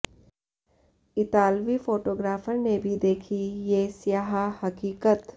इतालवी फोटोग्राफर ने भी देखीं ये स्याह हकीकत